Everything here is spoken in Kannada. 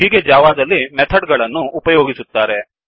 ಹೀಗೆ ಜಾವಾದಲ್ಲಿ ಮೆಥಡ್ ಗಳನ್ನು ಉಪಯೋಗಿಸುತ್ತಾರೆ